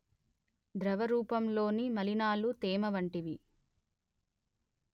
ద్రవరూపంలోని మలినాలు తేమ వంటివి